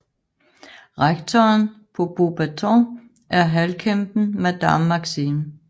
Rektoren på Beauxbatons er halvkæmpen Madame Maxime